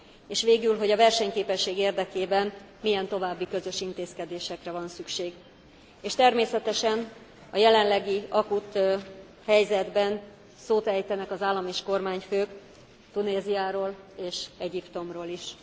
És végül, hogy a versenyképesség érdekében milyen további közös intézkedésekre van szükség, és természetesen a jelenlegi, akut helyzetben szót ejtenek az állam és kormányfők Tunéziáról és Egyiptomról is.